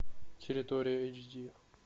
территория эйч ди